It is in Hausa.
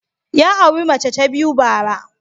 Ya auri mace ta biyu bara.